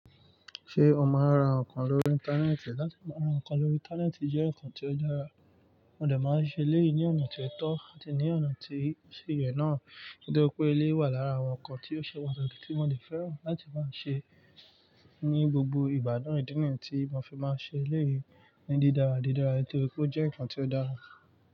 Ṣé o máa ń ra nǹkan lórí ìntanẹ́ẹ̀tì? Láti máa ra nǹkan lórí ìntanẹ́ẹ̀tì jẹ́ nǹkan tó dára, mo dà máa ń ṣe lẹ́ẹ̀yí ní ọ̀nà tí ó tọ́ àti ní ọ̀nà tí ó ṣe yẹ̀ náà. Nítorí pé eléyìí wà lára àwọn nǹkan tí ó ṣe wá likìtì mo de fẹ́ràn láti máa ṣe é ní gbogbo ìbádán ìdí ni yi tí mo fi máa ṣe lẹ́ẹ̀yí ní dídára didára. Nítorí pé ó jẹ́ nǹkan tí ó dára.